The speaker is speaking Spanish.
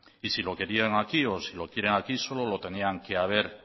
y si lo querían aquí o si lo quieren aquí solo lo tenían que haber